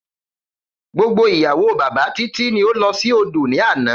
Gbogbo ìyàwó bàbá Titi ni ó lọ sí odò ní àná.